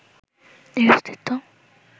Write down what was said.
এর অস্তিত্ব